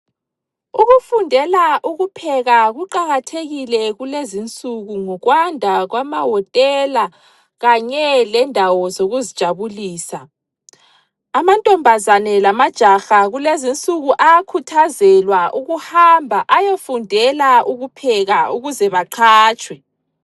Ukufundela ukupheka kuqakathekile kulezi insuku ngokwanda kwama hotela kanye lendawo zokuzijabulisa amantombazane lamajaha kulezi insuku ayakhuthazelwa ukuhamba ayefundela ukupheka ukuze baqhatshwe.